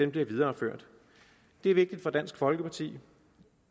bliver videreført det er vigtigt for dansk folkeparti